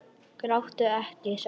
Gráttu ekki, sagði hún.